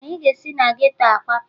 Anyị ga-esi na geto a kwapụ